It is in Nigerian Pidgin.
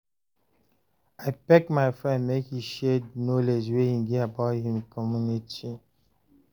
I beg my friend make he share di knowledge wey he get about him community